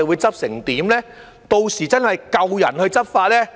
屆時是否真的有足夠人手執法呢？